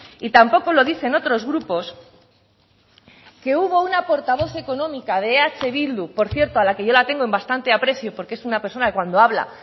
y tampoco lo dicen otros grupos que hubo una portavoz económica de eh bildu por cierto a la que yo la tengo en bastante aprecio porque es una persona que cuando habla